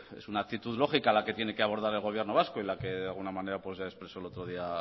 es una actitud lógica la que tiene que abordar el gobierno vasco y la que de alguna manera ya expresó el otro día